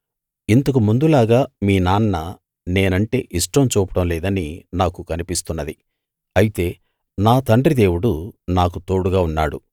ఇంతకు ముందులాగా మీ నాన్న నేనంటే ఇష్టం చూపడం లేదని నాకు కనిపిస్తున్నది అయితే నా తండ్రి దేవుడు నాకు తోడుగా ఉన్నాడు